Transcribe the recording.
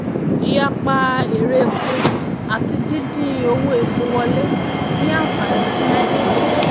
ìyapa èrè epo àti dídín owó epo wọlé ní ànfàní fún nàìjíríà.